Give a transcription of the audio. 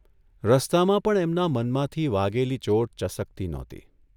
રસ્તામાં પણ એમના મનમાંથી વાગેલી ચોટ ચસકતી નહોતી.